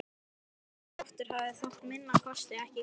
Þessi Galdra-Loftur hafði þá að minnsta kosti ekki galdrað þetta.